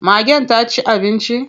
Magen ta ci abinci?